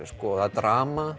drama